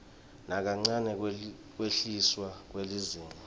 nakancane kwehliswa kwelizinga